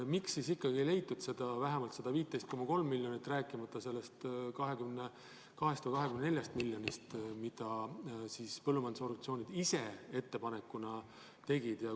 Miks siis ikkagi ei leitud vähemalt 15,3 miljonit, rääkimata sellest 22-st või 24 miljonist, mida põllumajandusorganisatsioonid ise ettepanekuna soovisid?